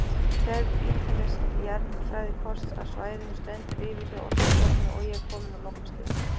Gerð ítarlegs jarðfræðikorts af svæðinu stendur yfir hjá Orkustofnun og er komin á lokastig.